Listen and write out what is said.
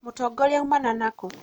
mũtongoria aumana nakũ?